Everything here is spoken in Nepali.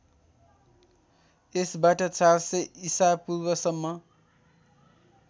यसबाट ४०० ईशापूर्वसम्म